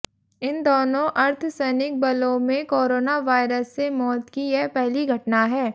इन दोनों अर्धसैनिक बलों में कोरोना वायरस से मौत की यह पहली घटना है